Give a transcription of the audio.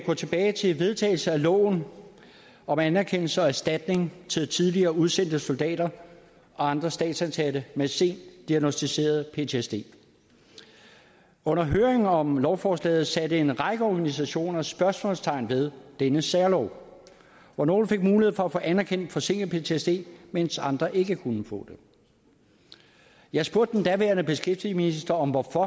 gå tilbage til vedtagelsen af loven om anerkendelse af og erstatning til tidligere udsendte soldater og andre statsansatte med sent diagnosticeret ptsd under høringen om lovforslaget satte en række organisationer spørgsmålstegn ved denne særlov hvor nogle fik mulighed for at få anerkendt forsinket ptsd mens andre ikke kunne få det jeg spurgte den daværende beskæftigelsesminister om hvorfor